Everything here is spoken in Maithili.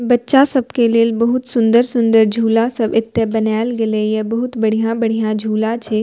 बच्चा सब के लेल बहुत सुन्दर-सुन्दर झूला सब एता बनाएल गैले ये बहुत बढ़िया-बढ़िया झूला छै।